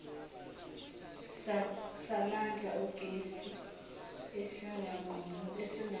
samandla ogesi esinganqamuki